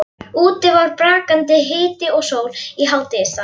Úti var brakandi hiti og sól í hádegisstað.